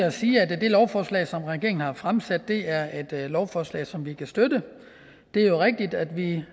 at sige at det lovforslag som regeringen har fremsat er et lovforslag som vi kan støtte det er jo rigtigt at vi